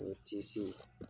O